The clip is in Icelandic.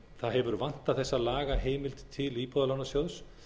það hefur vantað þessa lagaheimild til íbúðalánasjóðs